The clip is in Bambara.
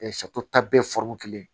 ta bɛɛ kelen